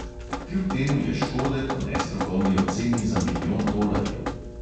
Kljub temu je škode po nestrokovni oceni za milijon tolarjev.